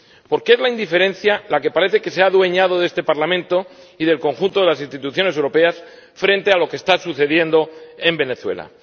Porque es la indiferencia la que parece que se ha adueñado de este Parlamento y del conjunto de las instituciones europeas frente a lo que está sucediendo en Venezuela.